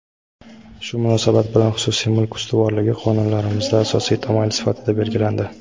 Shu munosabat bilan xususiy mulk ustuvorligi qonunlarimizda asosiy tamoyil sifatida belgilandi.